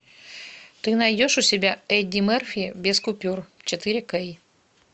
ты найдешь у себя эдди мерфи без купюр четыре кей